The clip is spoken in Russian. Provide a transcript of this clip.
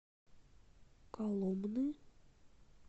коломны